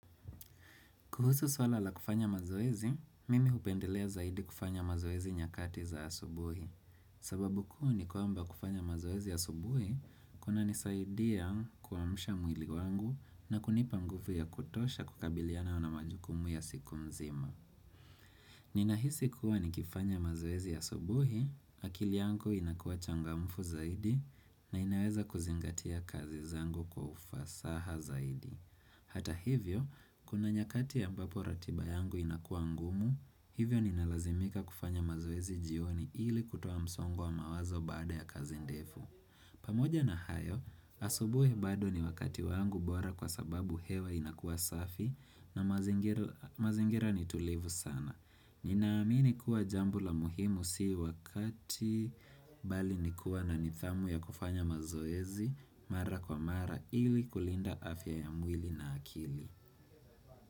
Kuhusu swala la kufanya mazoezi, mimi hupendelea zaidi kufanya mazoezi nyakati za asubuhi. Sababu kuu ni kwamba kufanya mazoezi asubuhi, kunanisaidia kuamsha mwili wangu na kunipa nguvu ya kutosha kukabiliana na majukumu ya siku mzima. Ninahisi kuwa nikifanya mazoezi ya asubuhi, akili yangu inakuwa changamfu zaidi na inaweza kuzingatia kazi zangu kwa ufasaha zaidi. Hata hivyo, kuna nyakati ya ambapo ratiba yangu inakuwa ngumu, hivyo ninalazimika kufanya mazoezi jioni ili kutoa msongo wa mawazo baada ya kazi ndefu. Pamoja na hayo, asubuhi bado ni wakati wangu bora kwa sababu hewa inakuwa safi na mazingira ni tulivu sana. Ninaamini kuwa jambo la muhimu si wakati bali nikuwa na nidhamu ya kufanya mazoezi mara kwa mara ili kulinda afya ya mwili na akili.